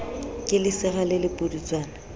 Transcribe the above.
ke lesira le le pudutswana